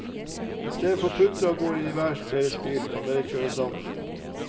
I stedet for å putre av gårde i hver deres bil, kan dere kjøre sammen.